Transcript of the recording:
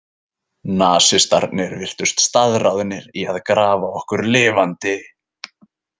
Nasistarnir virtust staðráðnir í að grafa okkur lifandi.